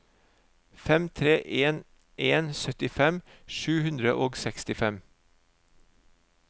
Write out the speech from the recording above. fem tre en en syttifem sju hundre og sekstifem